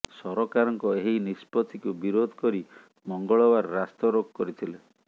ସରକାରଙ୍କ ଏହି ନିଷ୍ପତ୍ତିକୁ ବିରୋଧ କରି ମଙ୍ଗଳବାର ରାସ୍ତାରୋକ କରିଥିଲେ